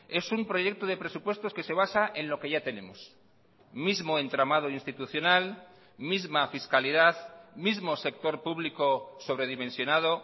es un proyecto de presupuestos que se basa en lo que ya tenemos mismo entramado institucional misma fiscalidad mismo sector público sobredimensionado